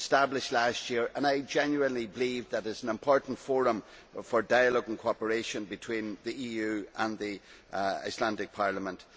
It was established last year and I genuinely believe that it is an important forum for dialogue and cooperation between the EU and the Icelandic Parliament.